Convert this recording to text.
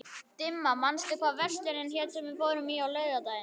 Dimma, manstu hvað verslunin hét sem við fórum í á laugardaginn?